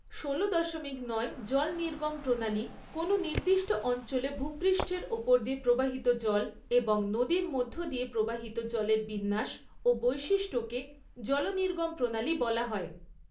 ষোলো দশমিক নয় জল নির্গম প্ৰণালী কোনো নির্দিষ্ট অঞ্চলে ভূপৃষ্ঠের ওপর দিয়ে প্রবাহিত জল এবং নদীর মধ্য দিয়ে প্রবাহিত জলের বিন্যাস ও বৈশিষ্ট্যকে জলনির্গম প্রণালী বলা হয়।